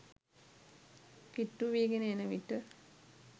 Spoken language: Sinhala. කිට්ටුවීගෙන එන විට